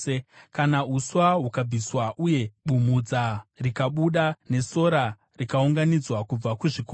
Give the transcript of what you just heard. Kana uswa hukabviswa, uye bumhudza rikabuda, nesora rikaunganidzwa kubva kuzvikomo,